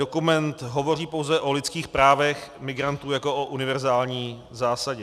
Dokument hovoří pouze o lidských právech migrantů jako o univerzální zásadě.